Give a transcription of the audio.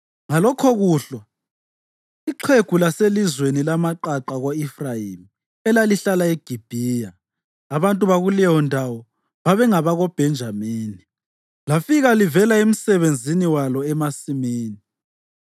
Ngalokhokuhlwa ixhegu laselizweni lamaqaqa ko-Efrayimi, elalihlala eGibhiya (abantu bakuleyondawo babengabakoBhenjamini), lafika livela emsebenzini walo emasimini.